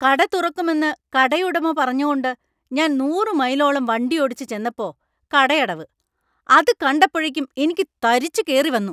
കട തുറക്കുമെന്ന് കടയുടമ പറഞ്ഞ കൊണ്ട് ഞാൻ നൂറ് മൈലോളം വണ്ടിയോടിച്ച് ചെന്നപ്പോ കടയടവ്. അത് കണ്ടപ്പോഴേക്കും എനിക്ക് തരിച്ചു കേറി വന്നു.